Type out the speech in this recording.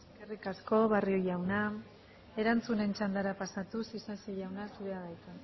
eskerrik asko barrio jauna erantzunen txandara pasatuz isasi jauna zurea da hitza